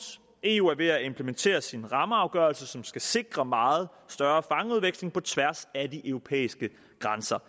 eu er ved at implementere sin rammeafgørelse som skal sikre meget større fangeudveksling på tværs af de europæiske grænser